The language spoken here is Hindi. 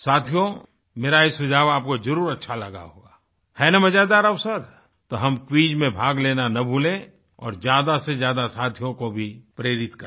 साथियो मेरा ये सुझाव आपको जरुर अच्छा लगा होगा है ना मजेदार अवसर तो हम क्विज में भाग लेना न भूलें और ज्यादासेज्यादा साथियों को भी प्रेरित करें